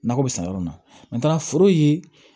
Nakɔ bɛ san yɔrɔ min na n taara foro ye